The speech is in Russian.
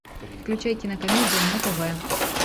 включай кинокомедия на тв